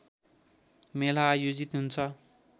मेला आयोजित हुन्छ